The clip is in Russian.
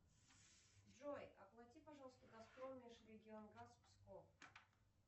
джой оплати пожалуйста газпром межрегионгаз псков